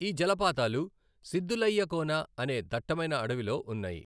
ఈ జలపాతాలు సిద్దులయ్య కోన అనే దట్టమైన అడవిలో ఉన్నాయి.